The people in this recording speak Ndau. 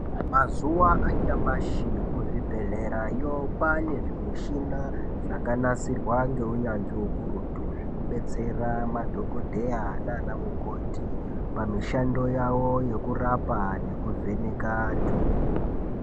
Mazuva anyamashi kuzvibhedhlerayo kwane zvimushina zvakanasirwa ngeunyanzvi ukurutu zvekudetsera madhokodheya naana mukoti pamushando yavo yekurapa nekuvheneka antu.